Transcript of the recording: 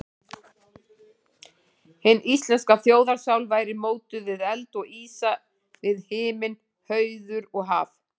Hin íslenska þjóðarsál væri mótuð við eld og ísa, við himinn, hauður og haf.